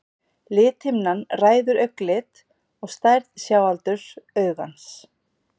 Lithimnan ræður augnlit og stærð sjáaldurs augans.